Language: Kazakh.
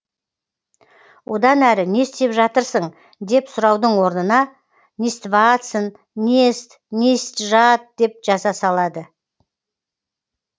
одан әрі не істеп жатырсың деп сұраудың орнына нестватсын нест не ист жат деп жаза салады